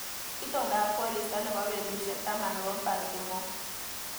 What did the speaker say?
Itondap koristo nebo betushek taman nebo Baltimore